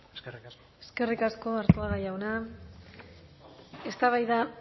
eskerrik asko eskerrik asko arzuaga jauna eztabaida